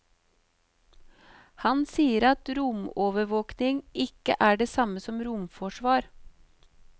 Han sier at romovervåking ikke er det samme som romforsvar.